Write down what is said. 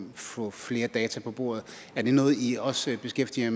at få flere data på bordet er det noget i også beskæftiger